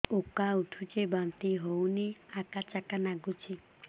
ଉକା ଉଠୁଚି ବାନ୍ତି ହଉନି ଆକାଚାକା ନାଗୁଚି